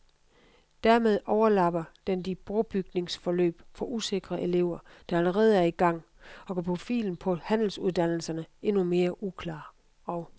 Dermed overlapper den de brobygningsforløb for usikre elever, der allerede er i gang, og gør profilen på handelsuddannelserne endnu mere uklar og.